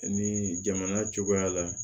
Ni jamana cogoya la